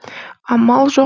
амал жоқ